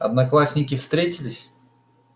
одноклассники встретились